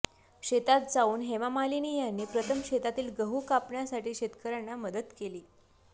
शेतात जाऊन हेमा मालिनी यांनी प्रथम शेतातील गहू कापण्यासाठी शेतकऱ्यांना मदत केली